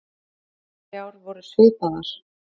Hinar myndirnar þrjár voru svipaðar.